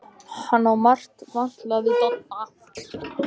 Hann á margt vantalað við Dodda.